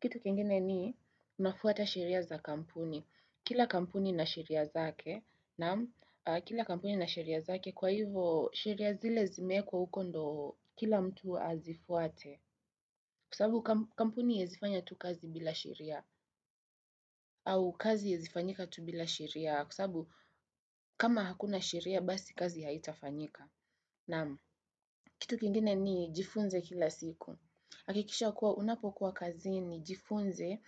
Kitu kengine ni, unafuata sheria za kampuni. Kila kampuni ina sheria zake,, kwa hivo, sheria zile zimeekwa huko ndo kila mtu azifuate. Kwa sabu, kampuni iezi fanya tu kazi bila sheria, au kazi iezi fanyika tu bila sheria. Kwa sabu kama hakuna sheria basi kazi haitafanyika. Kitu kingine ni jifunze kila siku. Hakikisha kuwa unapokuwa kazini jifunze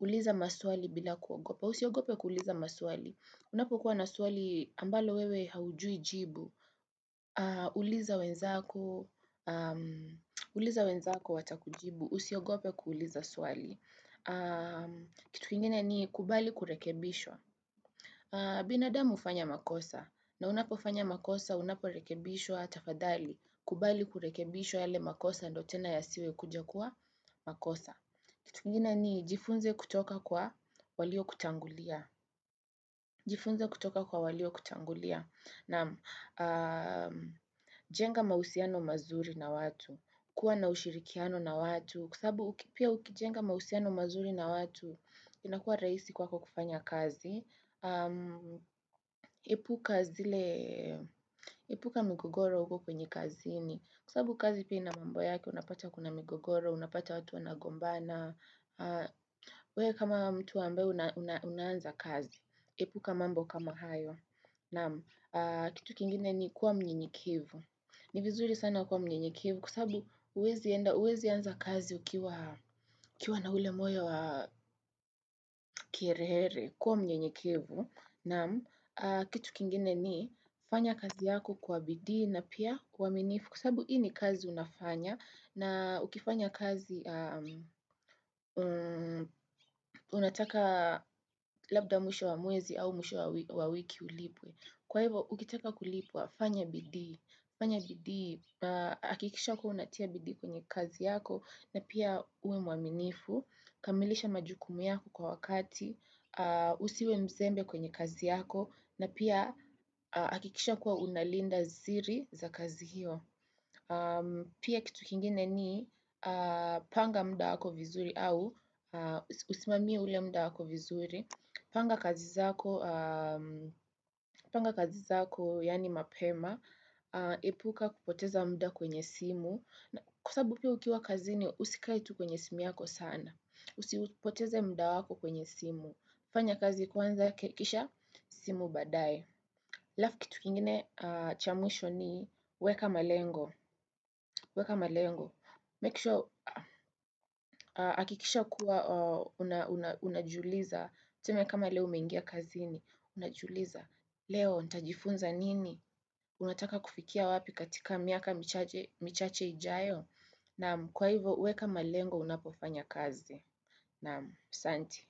uliza maswali bila kuogopa. Usiogope kuuliza maswali. Unapokuwa na swali ambalo wewe haujui jibu. Uliza wenzako watakujibu. Usiogope kuuliza swali. Kitu kingine ni kubali kurekebishwa. Binadamu ufanya makosa. Na unapofanya makosa, unaporekebishwa tafadhali, kubali kurekebishwa yale makosa ndio tena yasiwe kuja kuwa makosa. Kitu kingine ni jifunze kutoka kwa walio kutangulia. Jifunze kutoka kwa walio kutangulia. Naam, jenga mahusiano mazuri na watu, kuwa na ushirikiano na watu. Kwa sabu pia ukijenga mahusiano mazuri na watu, inakuwa raisi kwako kufanya kazi. Epuka migogoro uko kwenye kazini kwa sabu kazi pia ina mambo yake unapata kuna migogoro unapata watu wanagombana uwe kama mtu ambae unaanza kazi epuka mambo kama hayo na kitu kingine ni kuwa mnyenyekevu ni vizuri sana kuwa mnyenyekevu kwa sabu uwezi anza kazi ukiwa na ule moyo wa kiherehere kuwa mnyenyekevu Naam kitu kingine ni fanya kazi yako kwa bidii na pia kwa uaminifu Kwa sabu hii ni kazi unafanya na ukifanya kazi unataka labda mwisho wa mwezi au mwisho wa wiki ulipwe Kwa hivo, ukitaka kulipwa, fanya bidii, fanya bidii, akikisha kuwa unatia bidii kwenye kazi yako na pia uwe muaminifu, kamilisha majukumu yako kwa wakati, usiwe mzembe kwenye kazi yako na pia akikisha kuwa unalinda ziri za kazi hiyo. Pia kitu kingine ni panga mda wako vizuri au usimamie ule mda wako vizuri. Panga kazi zako yani mapema, epuka kupoteza mda kwenye simu. Kwa sabu pia ukiwa kazini usikae tu kwenye simu yako sana. Usipoteze mda wako kwenye simu. Fanya kazi kwanza kisha simu badae. Alfu kitu kingine cha mwisho ni weka malengo. Weka malengo. Make sure, akikisha kuwa, unajiuliza. Tuseme kama leo umengia kazini, unajiuliza. Leo, ntajifunza nini? Unataka kufikia wapi katika miaka michache ijayo? Naam, kwa hivo, weka malengo unapofanya kazi. Naam, asanti.